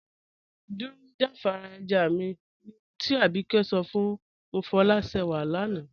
Dúró jàfàrà ẹ̀já mí, ní òhùn tí Ábíkẹ̀ sọ̀ fún Mofọlásẹ́wà lànà.